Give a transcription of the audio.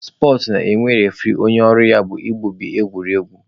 Spọtsụ na-enwe refuree onye ọrụ ya bụ igbubi egwuregwu.